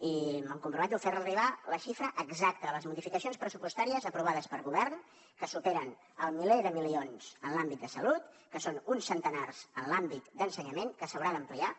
i em comprometo a fer li arribar la xifra exacta de les modificacions pressupostàries aprovades pel govern que superen el miler de milions en l’àmbit de salut que són uns centenars en l’àmbit d’ensenyament que s’haurà d’ampliar